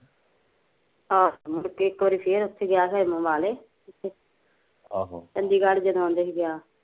ਆਹੋ ਮੁੜ ਕੇ ਇੱਕ ਵਾਰੀ ਫੇਰ ਉੱਥੇ ਗਿਆ ਸੀ ਖਰੇ ਅਂਬਲੇ ਆਹ ਚੰਡੀਗੜ ਕਹਿੰਦੇ ਸੀ ਜਦੋਂ ਗਿਆ